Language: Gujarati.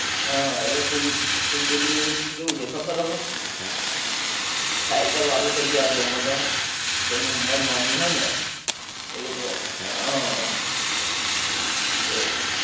અ હવે food delivery ની કેવું છે ખબર હવે cycle વાળું થઈ ગયું આ Zomato જેની ઉમર નાની હોએ ને એ લોકો આહ એ અ